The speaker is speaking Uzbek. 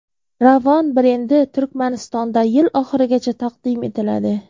Ravon brendi Turkmanistonda yil oxirigacha taqdim etiladi .